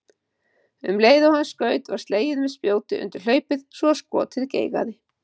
Um leið og hann skaut var slegið með spjóti undir hlaupið svo skotið geigaði.